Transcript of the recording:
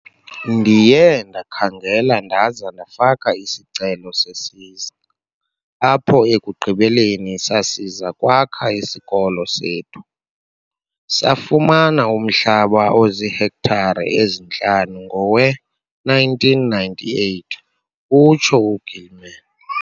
"Ndiye ndakhangela ndaza ndafaka isicelo sesiza apho ekugqibeleni sasiza kwakha isikolo sethu. Safumana umhlaba ozihektare ezintlanu ngowe-1998," utsho u-Gilman.